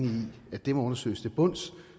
at det må undersøges til bunds